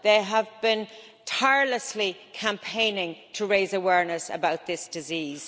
They have been tirelessly campaigning to raise awareness about this disease.